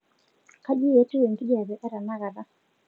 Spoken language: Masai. kai etiu enkijape etenakata